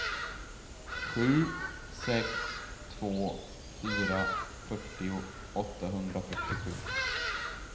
sju sex två fyra fyrtio åttahundrafyrtiosju